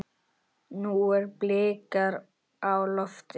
Nú eru blikur á lofti.